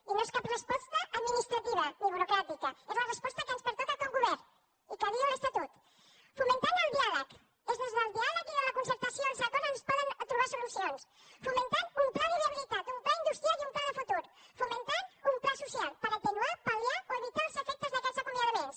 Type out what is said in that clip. i no és cap resposta administrativa ni burocràtica és la resposta que ens pertoca com a govern i que diu l’estatut fomentant el diàleg és des del diàleg i de la concertació i els acords que es poden trobar solucions fomentant un pla de viabilitat un pla industrial i un pla de futur fomentant un pla social per atenuar pal·liar o evitar els efectes d’aquests acomiadaments